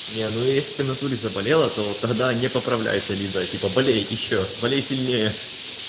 не ну если ты внатуре заболела то тогда не поправляйся лиза типа болеюй ещё более сильнее